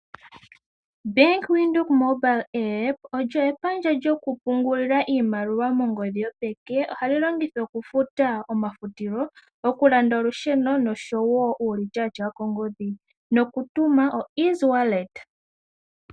Bank Windhoek mobile app olyo epandja lyokupungulila iimaliwa mongodhi yopeke. Ohali longithwa okufuta omafutilo, okulanda olusheno noshowo uulityatya wokoongodhi nokutuma oshimaliwa.